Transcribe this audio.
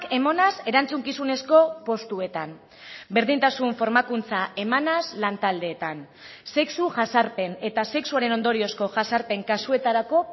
emanez erantzukizunezko postuetan berdintasun formakuntza emanez lan taldeetan sexu jazarpen eta sexuaren ondoriozko jazarpen kasuetarako